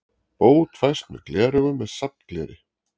Bót fæst með gleraugum með safngleri.